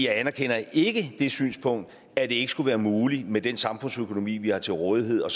anerkender ikke det synspunkt at det ikke skulle være muligt med den samfundsøkonomi vi har til rådighed og